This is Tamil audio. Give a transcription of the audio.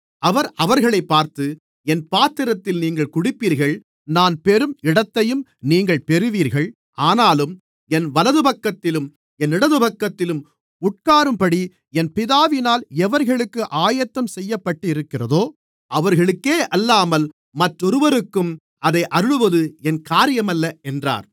அவர் அவர்களைப் பார்த்து என் பாத்திரத்தில் நீங்கள் குடிப்பீர்கள் நான் பெறும் இடத்தையும் நீங்கள் பெறுவீர்கள் ஆனாலும் என் வலதுபக்கத்திலும் என் இடதுபக்கத்திலும் உட்காரும்படி என் பிதாவினால் எவர்களுக்கு ஆயத்தம்செய்யப்பட்டிருக்கிறதோ அவர்களுக்கேயல்லாமல் மற்றொருவருக்கும் அதை அருளுவது என் காரியமல்ல என்றார்